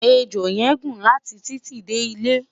ẹjọ yen gún láti titi De ilé